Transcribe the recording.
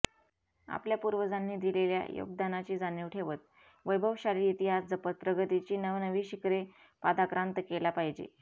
आपल्या पूर्वजांनी दिलेल्या योगदानाची जाणीव ठेवत वैभवशाली इतिहास जपत प्रगतीची नवनवी शिखरे पादाक्रांत केला पाहिजे